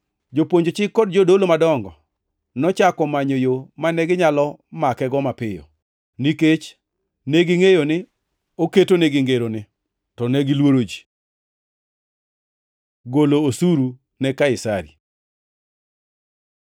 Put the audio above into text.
Jopuonj chik kod jodolo madongo nochako manyo yo mane ginyalo makego mapiyo, nikech negingʼeyo ni ogetogi kod ngeroni. To negiluoro ji. Golo osuru ne Kaisari